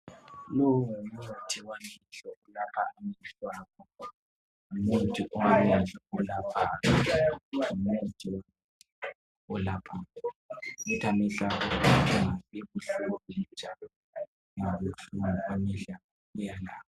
Longumuthi wamehlo olapha amehlo abantu, ngumuthi owamehlo olaphayo ngumuthi olapha ukuthi amehlo angabi buhlungu njalo angabi buhlungu.